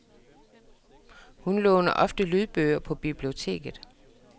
Hun låner ofte lydbøger på biblioteket.